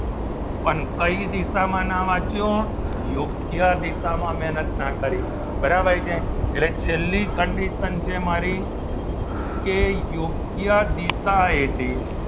પણ કઈ દિશામાં ના વાંચ્યું યોગ્ય દિશામાં મહેનત ના કરી બરાબર છે એટલે છેલ્લી condition છે મારી કે યોગ્ય દિશા એથી